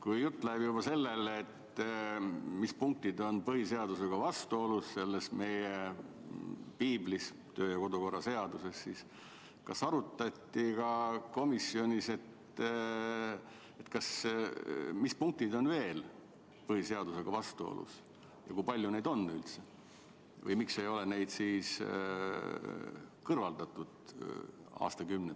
Kui jutt läheb juba sellele, mis punktid on meie piiblis ehk kodu- ja töökorra seaduses põhiseadusega vastuolus, siis kas komisjonis arutati ka seda, millised punktid veel on põhiseadusega vastuolus ja kui palju neid üldse on ja miks ei ole neid aastakümnete jooksul kõrvaldatud?